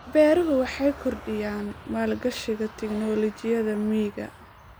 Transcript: Beeruhu waxay kordhiyaan maalgashiga tignoolajiyada miyiga.